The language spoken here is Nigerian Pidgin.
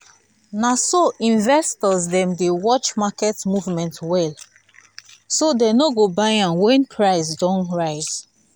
na so investors dem dey watch market movement well so dem no go buy an when price don rise